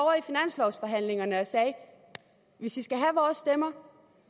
sagde hvis i skal have vores stemmer